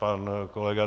Pan kolega